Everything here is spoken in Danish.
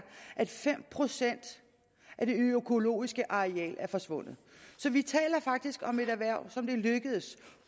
at fem procent af det økologiske areal er forsvundet så vi taler faktisk om et erhverv som det er lykkedes